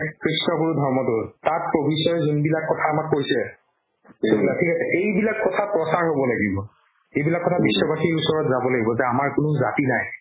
কৃষ্ণ গুৰু ধৰ্মতো তাত যোনবিলাক কথা আমাক কৈছে থিক আছে এইবিলাক কথা প্ৰচাৰ হ'ব লাগিব এইবিলাক কথা বিশ্ৱ বাশিৰ ওচৰত যাব লাগিব যে আমাৰ কোনো জাতি নাই